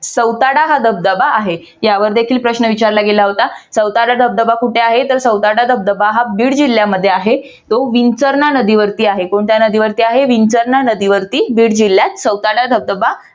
सौताडा हा धबधबा आहे यावर देखील प्रश्न विचारला गेला होता. सौताडा धबधबा कुठे आहे? तर सौताडा धबधबा हा बीड जिल्ह्यामध्ये आहे तो विंचरणा नदीवरती आहे. कोणत्या नदीवरती आहे? विंचरणा नदीवरती बीड जिल्ह्यात सौताडा धबधबा